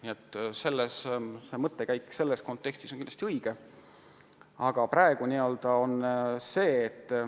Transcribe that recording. Nii et see mõttekäik on selles kontekstis kindlasti asjakohane.